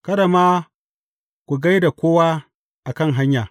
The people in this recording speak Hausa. Kada ma ku gai da kowa a kan hanya.